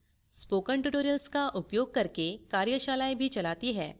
spoken tutorials का उपयोग करके कार्यशालाएँ भी चलाती है